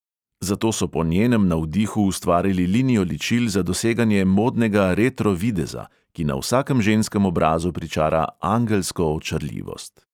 Zato so po njenem navdihu ustvarili linijo ličil za doseganje modnega retro videza, ki na vsakem ženskem obrazu pričara angelsko očarljivost.